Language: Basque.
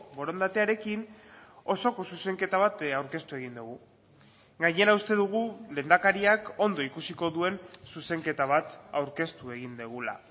borondatearekin osoko zuzenketa bat aurkeztu egin dugu gainera uste dugu lehendakariak ondo ikusiko duen zuzenketa bat aurkeztu egin dugula